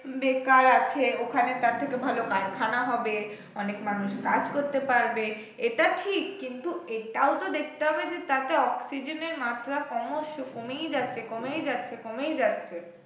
বেকার আছে ওখানে তার থেকে ভালো কারখানা হবে, অনেক মানুষ কাজ করতে পারবে এটা ঠিক কিন্তু এটাও তো দেখতে হবে যে তাতে অক্সিজেনের মাত্রা ক্রমশ কমেই যাচ্ছে কমেই যাচ্ছে কমেই যাচ্ছে।